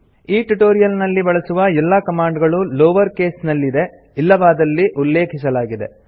ಈ ಟ್ಯುಟೋರಿಯಲ್ ನಲ್ಲಿ ಬಳಸುವ ಎಲ್ಲಾ ಕಮಾಂಡ್ ಗಳು ಲೋವರ್ ಕೇಸ್ ನಲ್ಲಿ ಇದೆ ಇಲ್ಲವಾದಲ್ಲಿ ಉಲ್ಲೇಖಿಸಲಾಗಿದೆ